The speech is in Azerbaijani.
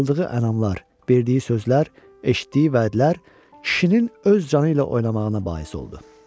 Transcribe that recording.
Amma aldığı ənamlar, verdiyi sözlər, eşitdiyi vədlər kişinin öz canı ilə oynamağına bais oldu.